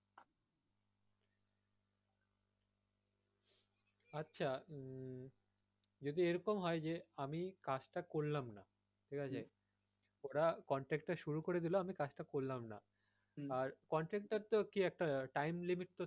আচ্ছা উম যদি এরকম হয় যে আমি কাজটা করলাম না ঠিক আছে? ওরা contract টা শুরু করে দিলো আমি কাজ টা করলাম না আর contract এর তো কি একটা time limit তো থাকবেই,